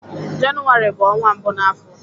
Jenụwarị bụ ọnwa mbụ na afọ